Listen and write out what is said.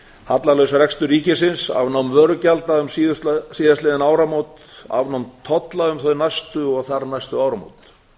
hallalaus rekstur ríkisins afnám vörugjalda um síðastliðin áramót afnám tolla um þau næstu og þar næstu áramót ísland